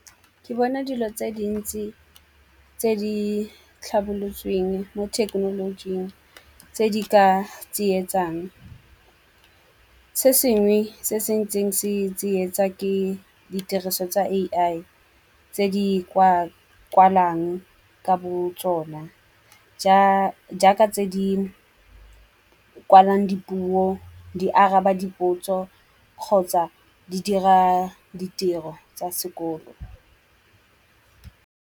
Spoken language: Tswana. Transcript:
Ke bona dilo tse dintsi tse di tlhabolotsweng mo thekenolojing tse di ka tsietsang. Se sengwe se se ntseng se tsietsa ke ditiriso tsa A_I tse di kwa kwalang ka botsona. Jaaka tse di kwalang dipuo, di araba dipotso kgotsa di dira ditiro tsa sekolo.